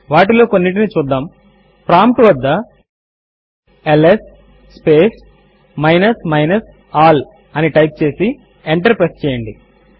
వాటిలో కొన్నిటిని చూద్దాము ప్రాంప్ట్ వద్ద ల్స్ మైనస్ ఆల్ అని టైప్ చేసి ఎంటర్ ప్రెస్ చేయండి